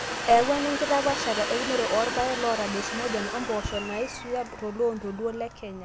eyawua ena enkitapaashata eunore oorpaek loota desmodium ompoosho naisuya toloontoluo Le Kenya